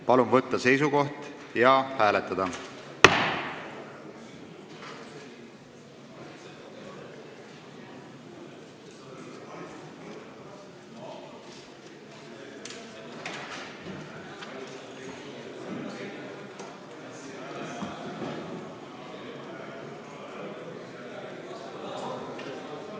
Palun võtta seisukoht ja hääletada!